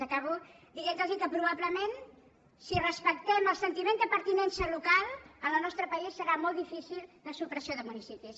acabo dient los que probablement si respectem el sentiment de pertinença local en el nostre país serà molt difícil la supressió de municipis